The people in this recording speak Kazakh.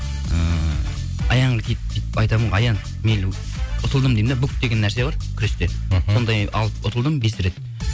ыыы аянға айтамын ғой аян мен ұтылдым деймін де бук деген нәрсе бар күрсте мхм сондай алып ұтылдым бес рет